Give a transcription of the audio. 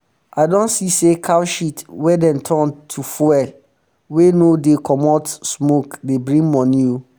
i don see say cow shit wey dem turn to fuel wey no um dey comot um smoke dey bring money o